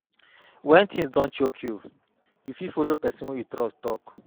when things don choke you, you fit follow person wey you trust talk